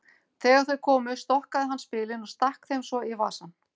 Þegar þau komu stokkaði hann spilin og stakk þeim svo í vasann.